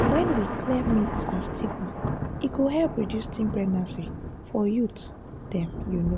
when we clear myths and stigma e go help reduce teen pregnancy for youth dem you know.